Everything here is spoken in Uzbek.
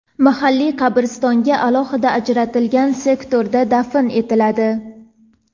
mahalliy qabristonga alohida ajratilgan sektorda dafn etiladi.